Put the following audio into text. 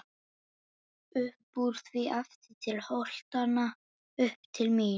Uppúr því aftur til holtanna, upp til mín.